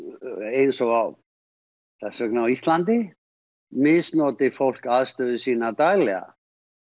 eins og þess vegna á Íslandi misnoti fólk aðstöðu sína daglega